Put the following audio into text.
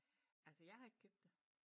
Altså jeg har ikke købt det